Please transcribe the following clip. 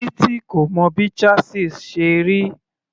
Titi kò mọ bí chasis ṣe rí.